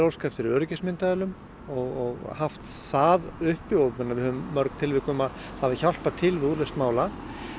óska eftir öryggismyndavélum og haft það uppi og við höfum mörg tilvik um að það hafi hjálpað til við úrlausn mála